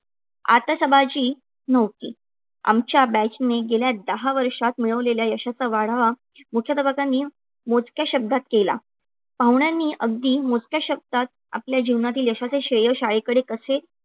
आतिषबाजी नव्हती. आमच्या batch ने गेल्या दहा वर्षात मिळवलेल्या यशाचा आढावा मुख्याध्यापकांनी मोजक्या शब्दांत केला. पाहुण्यांनी अगदी मोजक्या शब्दात आपल्या जीवनातील यशाचे श्रेय शाळेकडे कसे